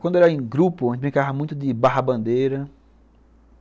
Quando era em grupo, a gente brincava muito de barra-bandeira.